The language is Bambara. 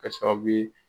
Kɛ sababu ye